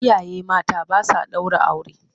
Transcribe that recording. Iyaye mata ba sa ɗaura aure.